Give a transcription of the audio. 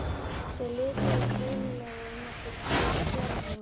Þeir lituðust laumulega um eftir Gerði.